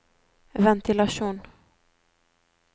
ventilasjon